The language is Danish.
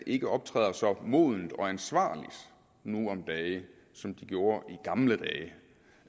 ikke optræder så modent og ansvarligt nu om dage som de gjorde i gamle